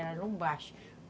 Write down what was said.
Era no baixo.